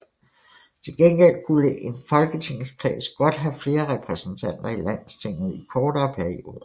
Til gengæld kunne en folketingskreds godt have flere repræsentanter i Landstinget i kortere perioder